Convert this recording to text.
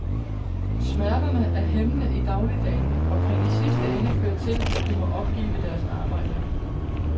Smerterne er hæmmende i dagligdagen og kan i sidste ende føre til, at de må opgive deres arbejde.